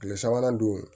Tile sabanan dun